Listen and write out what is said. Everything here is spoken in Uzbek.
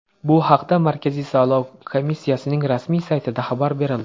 Bu haqda Markaziy saylov komissiyasining rasmiy saytida xabar berildi .